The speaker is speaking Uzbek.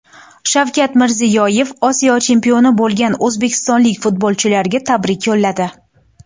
Shavkat Mirziyoyev Osiyo chempioni bo‘lgan o‘zbekistonlik futbolchilarga tabrik yo‘lladi.